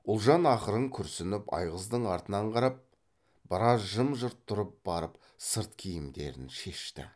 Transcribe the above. ұлжан ақырын күрсініп айғыздың артынан қарап біраз жым жырт тұрып барып сырт киімдерін шешті